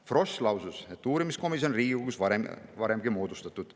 Frosch lausus, et uurimiskomisjone on Riigikogus varemgi moodustatud.